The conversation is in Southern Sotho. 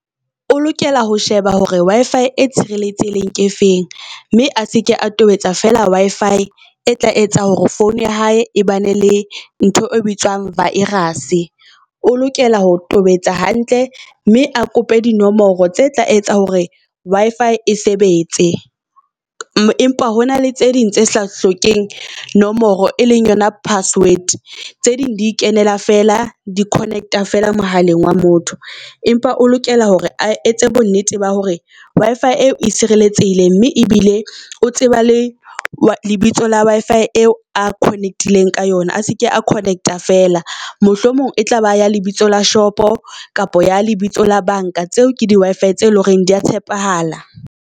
O lokela ho sheba hore Wi-Fi e tshireletsehileng ke efeng mme a seke a tobetsa fela Wi-Fi e tla etsa hore phone ya hae e ba ne le ntho e bitswang virus-e. O lokela ho tobetsa hantle mme a kope di nomoro tse tla etsa hore Wi-Fi e sebetse. Empa hona le tse ding tse sa hlokeheng nomoro e leng yona password, tse ding di kenela fela di connect-a fela mohaleng wa motho. Empa o lokela hore a etse bo nnete ba hore Wi-Fi eo e sireletsehile mme ebile o tseba le lebitso la Wi-Fi eo a connect-ileng ka yona, a se ke a connect-a feela. Mohlomong e tla ba ya lebitso la shop-o kapa ya lebitso la bank-a tseo ke di Wi-Fi tse leng hore di ya tshepahala.